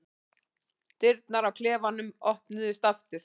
Dyrnar á klefanum opnast aftur.